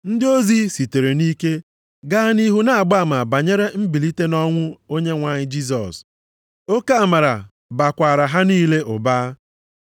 Ndị ozi sitere nʼike gaa nʼihu na-agba ama banyere mbilite nʼọnwụ Onyenwe anyị Jisọs, oke amara bakwaara ha niile ụba.